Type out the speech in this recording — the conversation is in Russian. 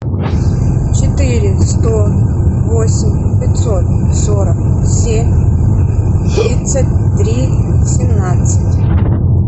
четыре сто восемь пятьсот сорок семь тридцать три семнадцать